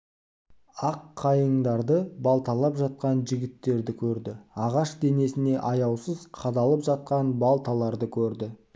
ақ қайыңдарды балталап жатқан жігіттерді көрді ағаш денесіне аяусыз қадалып жатқан балталарды көрді